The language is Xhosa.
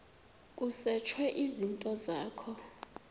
kusetshwe izinto zakho